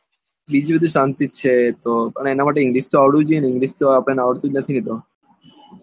બીજું બધું તો શાંતિ છે પણ એના માટે તો english તો આવડવું જોઈએ ને english તો આપડાને આવડતું નથી ને